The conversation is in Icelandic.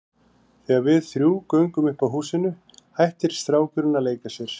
Þegar við þrjú göngum upp að húsinu hættir strákurinn að leika sér.